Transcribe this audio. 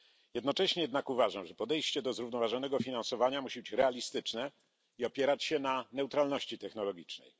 Jednocześnie jednak uważam, że podejście do zrównoważonego finansowania musi być realistyczne i opierać się na neutralności technologicznej.